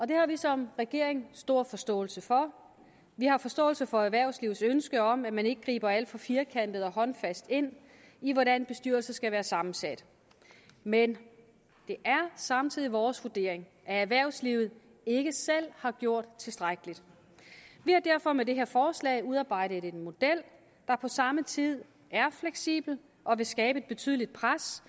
det har vi som regering stor forståelse for vi har forståelse for erhvervslivets ønske om at man ikke griber alt for firkantet og håndfast ind i hvordan bestyrelser skal være sammensat men det er samtidig vores vurdering at erhvervslivet ikke selv har gjort tilstrækkeligt vi har derfor med det her forslag udarbejdet en model der på samme tid er fleksibel og vil skabe et betydeligt pres